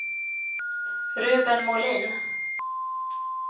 Ruben Molin